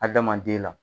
Adamaden la